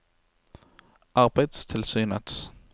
arbeidstilsynets